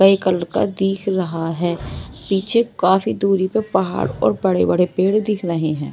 कई कलर का दिख रहा है पीछे काफी दूरी पर पहाड़ और बड़े-बड़े पेड़ दिख रहे हैं।